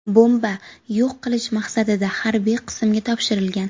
Bomba yo‘q qilish maqsadida harbiy qismga topshirilgan.